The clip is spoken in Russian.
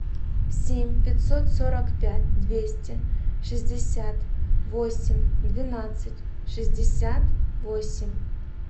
семь пятьсот сорок пять двести шестьдесят восемь двенадцать шестьдесят восемь